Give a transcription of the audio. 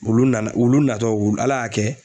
Ulu nana ulu natɔ u Ala y'a kɛ